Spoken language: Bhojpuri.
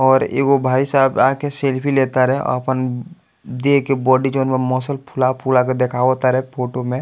और एगो भाई साहब आके सेल्फी ले तारे अपन देह के बॉडी जोन बा मसल फूला-फूला के देखावा तारे फोटो में।